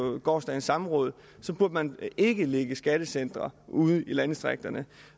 gårsdagens samråd burde man ikke lægge skattecentre ude i landdistrikterne